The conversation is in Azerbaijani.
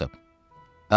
Axtarın onu.